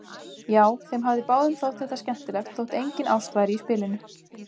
Já, þeim hafði báðum þótt þetta skemmtilegt þótt engin ást væri í spilinu.